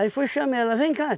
Aí fui chamar ela, vem cá.